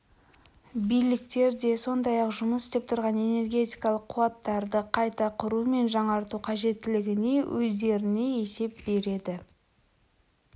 биліктер де сондай-ақ жұмыс істеп тұрған энергетикалық қуаттарды қайта құру мен жаңарту қажеттілігіне өздеріне есеп береді